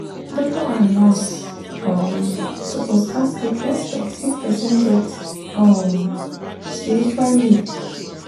doctor and nurse um suppose ask with respect if person get um spiritual need.